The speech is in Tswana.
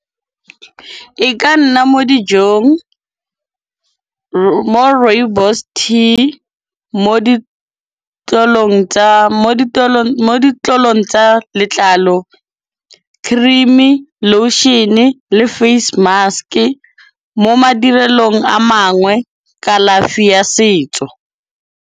E ka nna mo dijong, mo rooibos tea, mo ditlolong tsa letlalo, cream-e, lotion-e le face mask-e. Mo madirelong a mangwe kalafi ya setso.